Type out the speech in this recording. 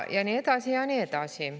Ja nii edasi ja nii edasi.